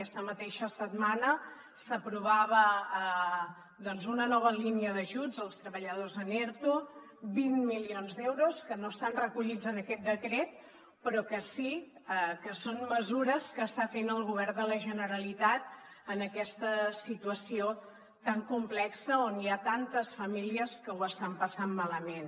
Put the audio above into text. aquesta mateixa setmana s’aprovava doncs una nova línia d’ajuts als treballadors en erto vint milions d’euros que no estan recollits en aquest decret però que sí que són mesures que està fent el govern de la generalitat en aquesta situació tan complexa on hi ha tantes famílies que ho estan passant malament